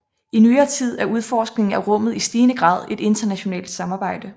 I nyere tid er udforskningen af rummet i stigende grad et internationalt samarbejde